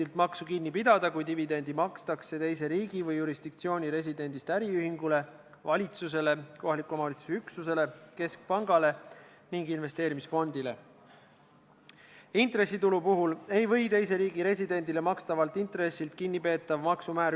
Kui komisjon on eelnõule lisanud kas teise seaduse või muutnud eelnõu oluliselt ja kui komisjon ei ole otsustanud, et eelnõu lugemine tuleks katkestada, kas siis tulevikus juhatus, tuginedes sellele teie täna öeldud lausele, et komisjon nii ei otsustanud, ei hakka kunagi eelnõu lugemist katkestama, mis on tegelikult tema õigus ja isegi kohustus?